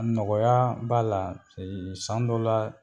Nɔgɔya b'a la san dɔ la.